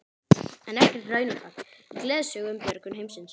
En ekkert raunatal í gleðisögu um björgun heimsins.